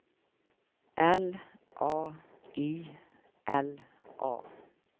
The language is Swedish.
L A I L A